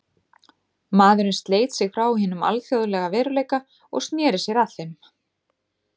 Maðurinn sleit sig frá hinum alþjóðlega veruleika og sneri sér að þeim.